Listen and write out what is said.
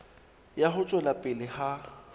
ya ho tswela pele ha